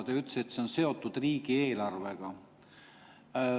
Te ütlesite, et see on seotud riigieelarvega.